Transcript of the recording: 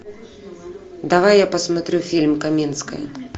давай я посмотрю фильм каменская